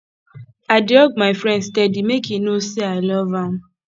i dey hug my friend steady make e know sey i love am